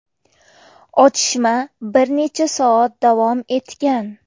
Otishma bir necha soat davom etgan.